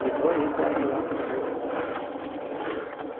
De dois e quatro anos, quando eu vim para cá.